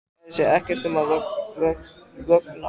Kærir sig ekkert um að vökna.